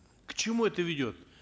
к чему это ведет